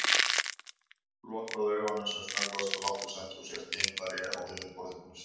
Lokaðu augunum sem snöggvast og láttu sem þú sért geimfari á yfirborði tunglsins.